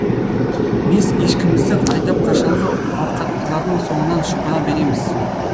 бес ешкімізді айдап қашанғы ауқаттылардың соңынан шұбыра береміз